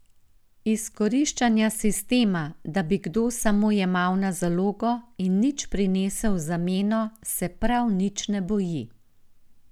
Izkoriščanja sistema, da bi kdo samo jemal na zalogo in nič prinesel v zameno, se prav nič ne boji.